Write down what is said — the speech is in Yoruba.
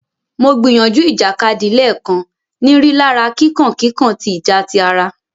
Mo gbìyànjú ìjàkadì léèkan, ní rilara kíkàn kíkàn tí ìjà tí àrà.